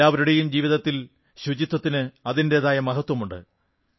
എല്ലാവരുടെയും ജീവിതത്തിൽ സ്വച്ഛതയ്ക്ക് അതിന്റെതായ മഹത്വമുണ്ട്